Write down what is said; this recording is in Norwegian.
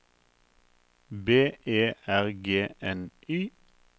B E R G N Y